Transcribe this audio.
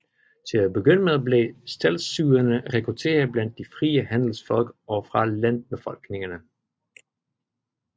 Til at begynde med blev streltsyerne rekrutteret blandt de frie handelsfolk og fra landbefolkningen